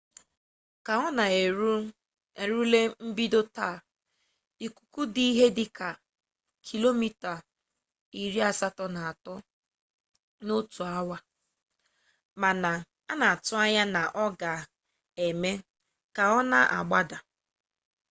ka ọ na-erule mbido taa ikuku dị ihe dịka 83km/awa ma a na-atụkwa anya na ọ ga-eme ka ọ na-agbada